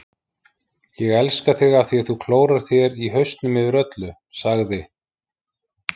Ég elska þig af því þú klórar þér í hausnum yfir öllu, sagði